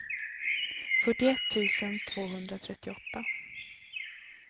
fyrtioett tusen tvåhundratrettioåtta